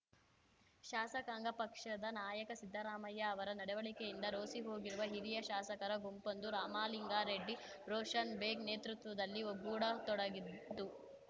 ಶಾಸಕಾಂಗ ಪಕ್ಷದ ನಾಯಕ ಸಿದ್ದರಾಮಯ್ಯ ಅವರ ನಡವಳಿಕೆಯಿಂದ ರೋಸಿಹೋಗಿರುವ ಹಿರಿಯ ಶಾಸಕರ ಗುಂಪೊಂದು ರಾಮಲಿಂಗಾರೆಡ್ಡಿ ರೋಷನ್‌ಬೇಗ್‌ ನೇತೃತ್ವದಲ್ಲಿ ಒಗ್ಗೂಡತೊಡಗಿದ್ದು